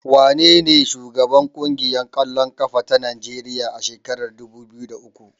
Wanene shugaban ƙungiyar ƙwallon ƙafa ta Najeriya a shekarar dubu biyu da uku?